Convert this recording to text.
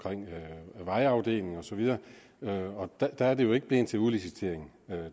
vejafdelingen og så videre videre der er det jo ikke blevet til udlicitering